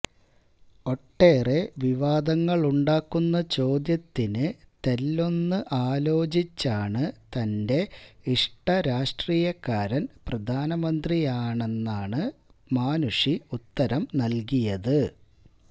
ഒട്ടെറെ വിവാദങ്ങളുണ്ടാക്കുന്ന ചോദ്യത്തിന് തെല്ലൊന്ന് ആലോചിച്ചാണ് തന്റെ ഇഷ്ട രാഷ്ട്രീയക്കാരന് പ്രധാനമന്ത്രിയാണെന്നാണ് മാനുഷി ഉത്തരം നല്കിയത്